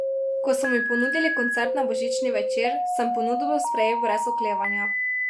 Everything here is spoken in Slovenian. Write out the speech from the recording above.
Ko so mi ponudili koncert na božični večer, sem ponudbo sprejel brez oklevanja.